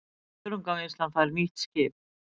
Þörungavinnslan fær nýtt skip